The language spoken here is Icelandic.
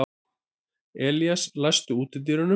Elías, læstu útidyrunum.